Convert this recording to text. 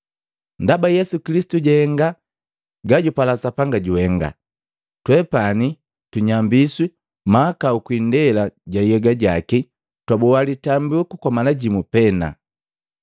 Ndaba Yesu Kilisitu jahenga gajupala Sapanga juhenga, twepani tunyambiswi mahakau kwii indela ja nhyega jaki jwaboa litambiku kwa mala jimu pena.